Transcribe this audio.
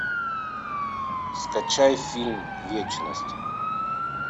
скачай фильм вечность